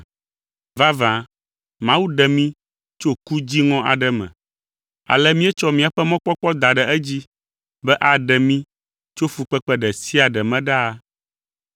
Vavã, Mawu ɖe mí tso ku dziŋɔ aɖe me, ale míetsɔ míaƒe mɔkpɔkpɔ da ɖe edzi be aɖe mí tso fukpekpe ɖe sia ɖe me ɖaa.